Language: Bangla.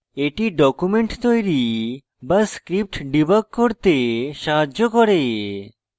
এটি ডকুমেন্ট তৈরী বা script ডিবাগ করতে সাহায্য করে